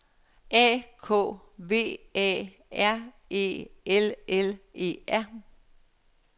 A K V A R E L L E R